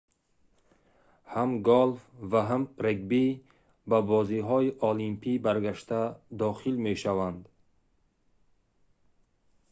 ҳам голф ва ҳам регби ба бозиҳои олимпӣ баргашта дохил мешаванд